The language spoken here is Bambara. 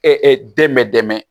den bɛ dɛmɛ